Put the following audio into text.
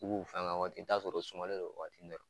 U b'u fan da waati, i bi taa sɔrɔ u suma non o waati